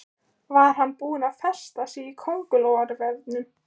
Var hann búinn að festa sig í kóngulóarvefnum?